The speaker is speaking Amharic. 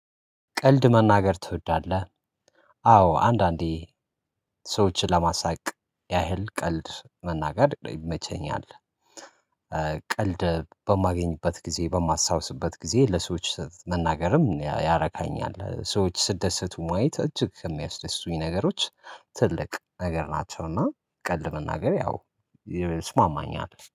ቀልድ መናገር ትወዳለህ? አዎ አንዳንዴ ሰዎችን ለማሳቅ ያህል ቀልድ መናገር ይመቸኛል። ቀልድ በማገኝበት ጊዜ በማሳታውስበት ጊዜ ለሰዎች መናገርም ያረካኛል ሰዎች ሲትደሰቱ ማየት እጅግ የሚያስደስቱኝ ነገሮች። ትልቅ ነገር ናቸውና ቀልድ መናገር ያው ይስማማኛል